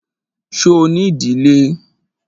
Ṣo ní ìdílé?